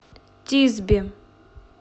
тисби